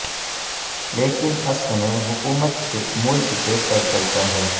لیکن اصل میں حکومت کے ملک کے سر چلتا ہے